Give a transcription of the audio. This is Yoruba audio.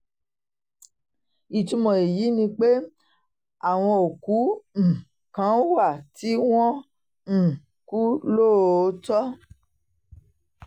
ìtumọ̀ èyí ni pé àwọn òkú um kan wà tí wọ́n um kú lóòótọ́